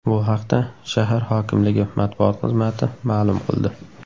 Bu haqda shahar hokimligi matbuot xizmati ma’lum qildi.